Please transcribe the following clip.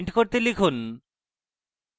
লিখুন: